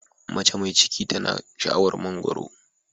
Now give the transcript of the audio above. Mace mai ciki tana sha'awar mangwaro.